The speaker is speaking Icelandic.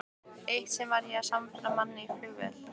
Eitt sinn var ég samferða manni í flugvél.